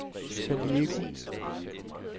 San Diego